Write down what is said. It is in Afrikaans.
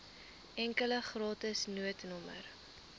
enkele gratis noodnommer